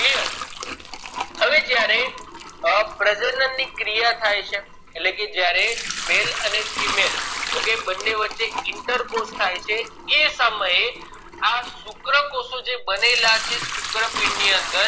અ પ્રજનન ની ક્રિયા થાય છે એટલે કે જયારે male અને femaleokay બને વચ્ચ interposh થય છે એ સમયે આ શુક્રકોષો બનેલા છે શુક્ર પીંડ ની અંદર